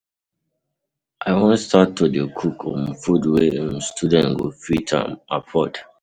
I wan start to dey cook um food wey um students go fit um afford.